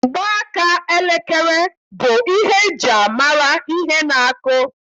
Mgbaaka elekere bụ ihe eji-amara ihe na-akụ.